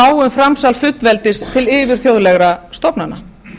á um framsal fullveldis til yfirþjóðlegra stofnana